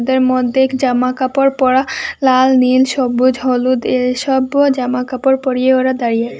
এর মধ্যে এক জামা কাপড় পরা লাল নীল সবুজ হলুদ এই সবও জামা কাপড় পরিয়ে ওরা দাঁড়িয়ে আছে।